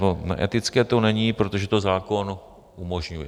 No, neetické to není, protože to zákon umožňuje.